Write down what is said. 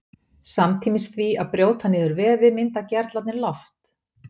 Samtímis því að brjóta niður vefi mynda gerlarnir loft.